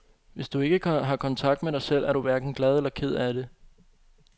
Hvis du ikke har kontakt med dig selv, er du hverken glad eller ked af det.